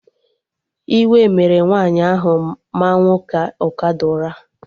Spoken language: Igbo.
Iwe mere nwaanyị ahụ maa nwoke ọkada ụra